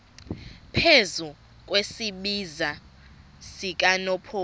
phezu kwesiziba sikanophoyi